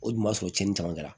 O dun b'a sɔrɔ cɛnnin caman kɛra